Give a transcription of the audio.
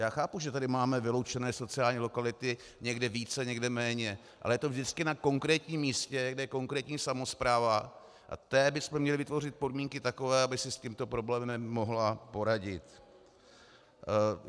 Já chápu, že tady máme vyloučené sociální lokality, někde více, někde méně, ale je to vždycky na konkrétním místě, kde je konkrétní samospráva, a té bychom měli vytvořit podmínky takové, aby si s tímto problémem mohla poradit.